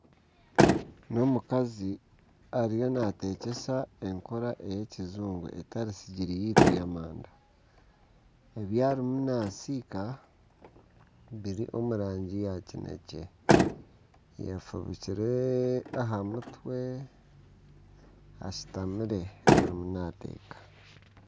Omukazi ariyo naatekyesa enkora ey'ekijungu etari sigiri yaitu ey'amanda, ebi arimu naasiika biri omu rangi ya kinekye, ayefubikire aha mutwe ashutamire arimu naateeka